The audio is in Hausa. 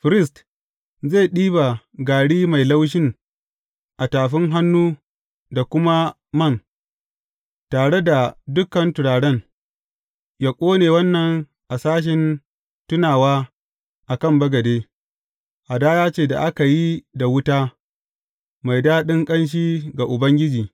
Firist zai ɗiba gari mai laushin a tafin hannu da kuma man, tare da dukan turaren, yă ƙone wannan a sashen tunawa a kan bagade, hadaya ce da aka yi da wuta, mai daɗin ƙanshi ga Ubangiji.